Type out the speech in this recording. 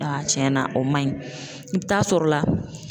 cɛnna o man ɲi i bɛ taa sɔrɔ la